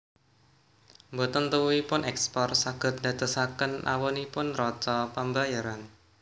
Mboten tuwuhipun èkspor saged ndadosaken awonipun neraca pambayaran